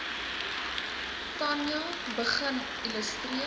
tanja begin illustreer